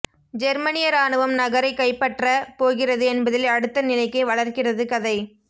ஜெர்மனிய ராணுவம் நகரைக் கைப்பற்ற போகிறது என்பதில் அடுத்த நிலைக்கு வளர்க்கிறது கதை